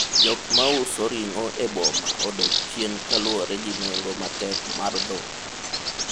jok mauso ring'o e boma odok chien kaluwore gi nengo matek mar dhok